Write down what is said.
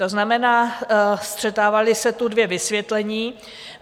To znamená, střetávala se tu dvě vysvětlení.